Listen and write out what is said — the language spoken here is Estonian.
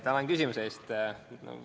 Tänan küsimuse eest!